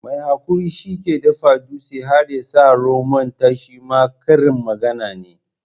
Mai hakuri shi ke dafa dutse har ya sa romon ta shima karin magana ne.